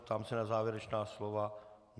Ptám se na závěrečná slova.